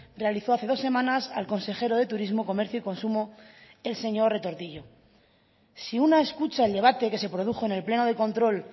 realizó hace dos semanas al consejero de turismo comercio y consumo el señor retortillo si una escucha el debate que se produjo en el pleno de control